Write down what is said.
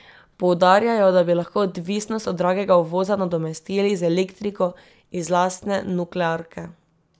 Poudarjajo, da bi lahko odvisnost od dragega uvoza nadomestili z elektriko iz lastne nuklearke.